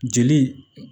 Jeli